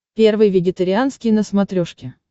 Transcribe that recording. первый вегетарианский на смотрешке